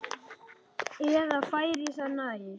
Eða færir það nær.